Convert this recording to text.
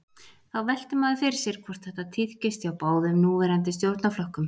Þá veltir maður fyrir sér hvort þetta tíðkist hjá báðum núverandi stjórnarflokkum.